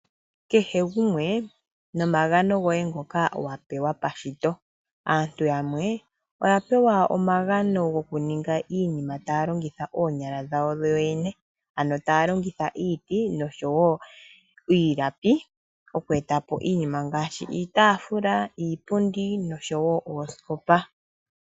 Keshe gumwe nomagano goye ngoka wapewa keshito aantu yamwe oya pewa omagano gokuninga iinima taya longitha oonyala dhawo dhoyene ano taya longitha iiti nosho woo iilapi okweetapo iitafula, iipundi nosho woo oosikopa.